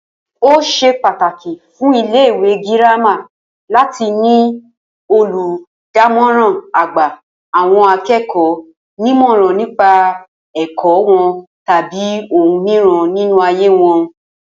Ó s̩e pàtàkì fún ilé-ìwé girama láti ní olùdámò̩rán a-gba-àwo̩n-aké̩kò̩ó̩-nímò̩ràn nípa è̩kó̩ wo̩n tàbí ohun mìíràn nínú ayé wo̩n